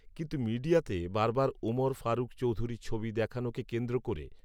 কিন্তু মিডিয়াতে বারবার ওমর ফারুক চৌধুরীর ছবি দেখানো কে কেন্দ্র করে